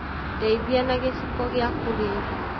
Ndeithĩa na gĩciko gĩa kũrĩa irĩo